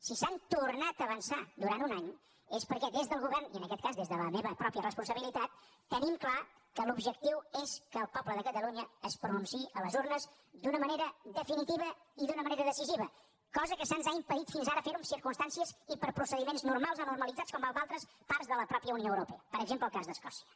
si s’han tornat a avançar durant un any és perquè des del govern i en aquest cas des de la meva pròpia responsabilitat tenim clar que l’objectiu és que el poble de catalunya es pronunciï a les urnes d’una manera definitiva i d’una manera decisiva cosa que se’ns ha impedit fins ara fer en circumstàncies i per procediments normals o normalitzats com a altres parts de la mateixa unió europea per exemple el cas d’escòcia